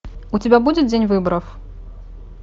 у тебя будет день выборов